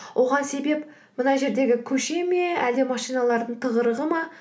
оған себеп мына жердегі көше ме әлде машиналардың тығырығы ма